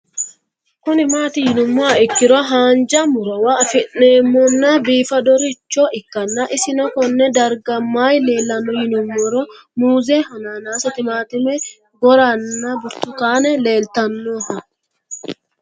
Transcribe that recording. Kuni mati yinumoha ikiro hanja murowa afine'mona bifadoricho ikana isino Kone darga mayi leelanno yinumaro muuze hanannisu timantime gooranna buurtukaane leelitoneha